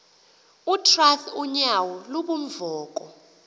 utrath unyauo lubunvoko